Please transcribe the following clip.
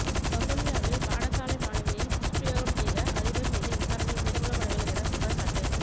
வவுனியாவில் பாடசாலை மாணவியை துஸ்பிரயோகம் செய்த அதிபர் மீது விசாரணை மேற்கொள்ளப்படவில்லை என குற்றச்சாட்டு